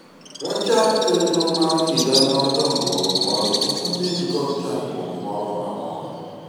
wachak chenro mar higa mar dongruok mondo kik wabed kod chandruok moro amora